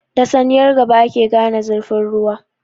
Da saniyar gaba ake gane zurfin ruwa.